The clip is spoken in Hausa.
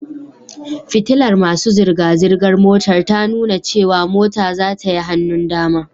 Fitilar masu zirga-zirgar motar ta nuna cewa mota zata yi hannun dama